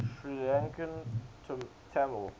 sri lankan tamil